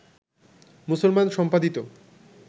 মুসলমান সম্পাদিত